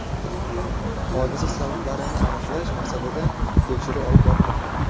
Hodisa sabablarini aniqlash maqsadida tekshiruv olib borilmoqda.